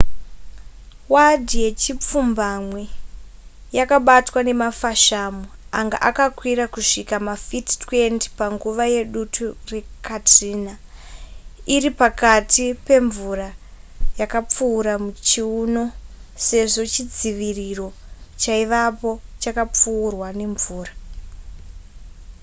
wadhi yechipfumbamwe yakabatwa nemafashamu anga akakwira kusvika mafiti 20 panguva yedutu rekatrina iri pakati pemvura yakapfuura chiuno sezvo chidziviriro chaivapo chakapfuurwa nemvura